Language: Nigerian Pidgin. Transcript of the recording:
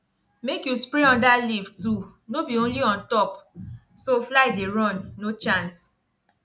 make you spray under leaf too no be only on top so fly dey run no chance